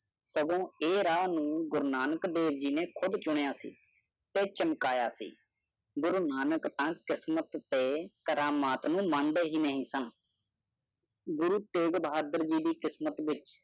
ਸਗੋਂ ਇਹ ਰਾਹ ਨੂ੍ੰ ਗੁਰੂ ਨਾਨਕ ਦੇਵ ਜੀ ਨੇ ਖੁਦ ਚੁਣਿਆ ਸੀ ਤੇ ਚਮਕਾਇਆ ਸੀ। ਗੁਰੂ ਨਾਨਕ ਗੁਰੂ ਤੇਗ ਬਹਾਦਰ ਜੀ ਦੀ ਕਿਸਮਤ ਵਿੱਚ